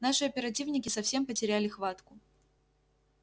наши оперативники совсем потеряли хватку